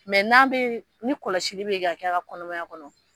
Mɛ n'a bɛ ni kɔlɔsili bɛ ka kɛ a ka kɔnɔmaya kɔnɔ..